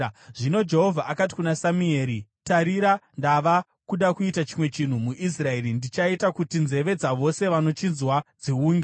Zvino Jehovha akati kuna Samueri, “Tarira, ndava kuda kuita chimwe chinhu muIsraeri chichaita kuti nzeve dzavose vanochinzwa dziunge.